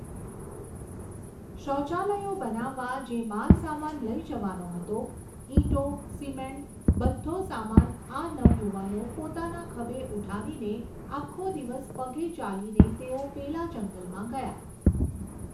શૌચાલયો બનાવવા જે માલસામાન લઈ જવાનો હતો, ઇંટો, સિમેન્ટ્સ, બધ્ધો સામાન આ નવયુવાનો પોતાના ખભે ઉઠાવીને, આખો દિવસ પગે ચાલીને તેઓ પેલા જંગલમાં ગયા.